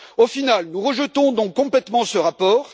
Au final, nous rejetons donc complètement ce rapport.